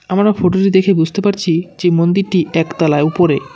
আমরা ফটো -টি দেখে বুঝতে পারছি যে মন্দিরটি একতলায় উপরে।